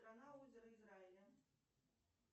канал озеро израиля